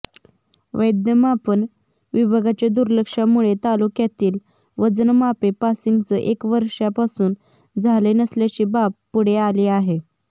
वैधमापन विभागाच्या दुर्लक्षामुळे तालुक्यातील वजनमापे पासिंगच एक वर्षापासून झाले नसल्याची बाब पुढे आली आहे